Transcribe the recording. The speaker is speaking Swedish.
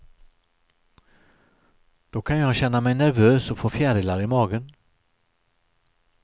Då kan jag känna mig nervös och få fjärilar i magen.